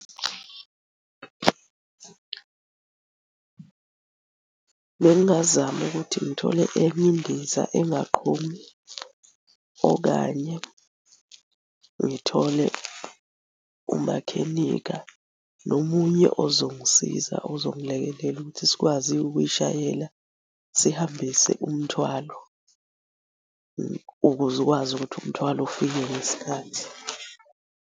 Bengingazama ukuthi ngithole enye indiza engaqhumi, okanye ngithole umakhenikha nomunye ozongisiza ozongilekelela ukuthi sikwazi-ke ukuyishayela sihambise umthwalo, ukuze ukwazi ukuthi umthwalo ufike ngesikhathi.